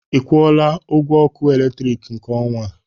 Ị kwọla ọgwọ ọkụ eletrịkị nke ọnwa?